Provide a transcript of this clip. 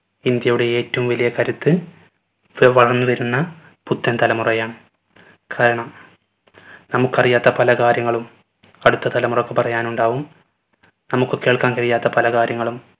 ഇന്ത്യയുടെ ഏറ്റവും വലിയ കരുത്ത്‌ ഇപ്പൊ വളർന്ന് വരുന്ന പുത്തൻ തലമുറയാണ് കാരണം നമുക്കറിയാത്ത പല കാര്യങ്ങളും അടുത്ത തലമുറക്കു പറയാനുണ്ടാവും നമ്മുക്ക് കേൾക്കാൻ കഴിയാത്ത പല കാര്യങ്ങളും